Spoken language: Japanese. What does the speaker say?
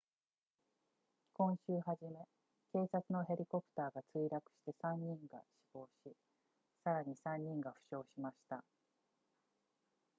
今週初め警察のヘリコプターが墜落して3人が死亡しさらに3人が負傷しました